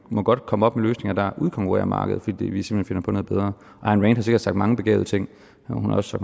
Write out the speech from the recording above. må godt komme op med løsninger der udkonkurrerer markedet fordi vi simpelt hen finder på noget bedre ayn rand har sikkert sagt mange begavede ting men hun har også